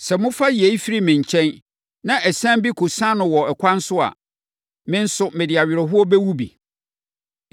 Sɛ mofa yei firi me nkyɛn, na asiane bi kɔsiane no wɔ ɛkwan so a, me nso, mede awerɛhoɔ bɛwu bi.’